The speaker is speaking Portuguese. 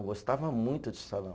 Gostava muito de salão.